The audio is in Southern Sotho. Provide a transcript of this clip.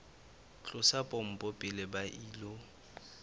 tlosa pompo pele ba ilo